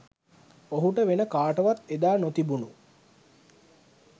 ඔහුට වෙන කාටවත් එදා නොතිබුණු